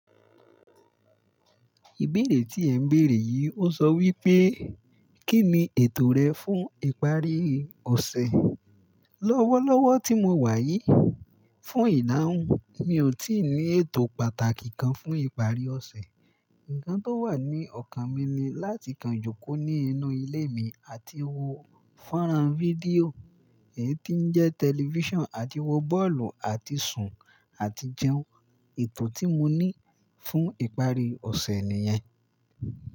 Ìbéèrè tí ẹ ń béèrè yìí ó sọ wípé, kí ni ètò rẹ fún ìparí ọ̀sẹ̀? Lọ́wọ́lọ́wọ́ tí mo wà yìí, fún ìdahun, mi ò tí ì ní ètò pàtàkì kan fún ìparí ọ̀sẹ̀. Ǹkan tó wà ní ọkàn mi ni láti kanjúkó ní inú ilé mi àti wo fónrán fídíò, èyí tí ń jẹ́ tẹlifíṣàn àti wo bọ́ọ̀lù àti sùn àti jẹun. Ètò tí mo ní fún ìparí ọ̀sẹ̀ nìyẹn.